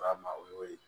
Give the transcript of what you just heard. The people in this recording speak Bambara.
A ma o y'o ye